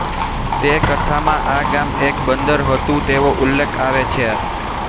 તે કથામાં આ ગામ એક બંદર હતું તેવો ઉલ્લેખ આવે છે